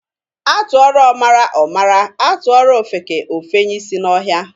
A tụọrọ ọmara, ọ mara, a tụọrọ ofeke, o fenye isi n'ọhịa.